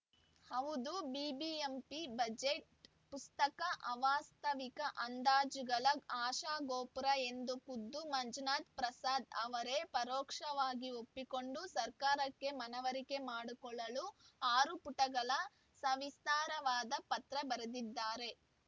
ಹೌದು ಬಿಬಿಎಂಪಿ ಬಜೆಟ್‌ ಪುಸ್ತಕ ಅವಾಸ್ತ ವಿಕ ಅಂದಾಜುಗಳ ಆಶಾಗೋಪುರ ಎಂದು ಖುದ್ದು ಮಂಜುನಾಥಪ್ರಸಾದ್‌ ಅವರೇ ಪರೋಕ್ಷವಾಗಿ ಒಪ್ಪಿಕೊಂಡು ಸರ್ಕಾರಕ್ಕೆ ಮನವರಿಕೆ ಮಾಡಿಕೊಡಲು ಆರು ಪುಟಗಳ ಸವಿಸ್ತಾರವಾದ ಪತ್ರ ಬರೆದಿದ್ದಾರೆ